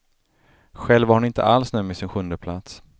Själv var hon inte alls nöjd med sin sjundeplats.